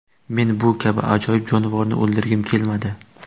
Men bu kabi ajoyib jonivorni o‘ldirgim kelmadi.